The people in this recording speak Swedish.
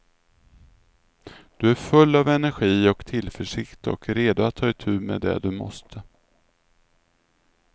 Du är full av energi och tillförsikt och redo att ta itu med det du måste.